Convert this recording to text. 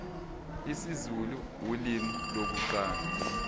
isizulu ulimi lokuqala